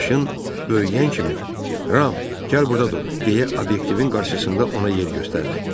Maşın böyüyən kimi, Ram, gəl burda dur deyə obyektivin qarşısında ona yer göstərdi.